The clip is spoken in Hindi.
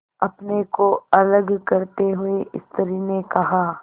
अपने को अलग करते हुए स्त्री ने कहा